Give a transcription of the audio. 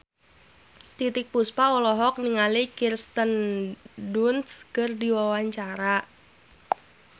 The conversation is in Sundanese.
Titiek Puspa olohok ningali Kirsten Dunst keur diwawancara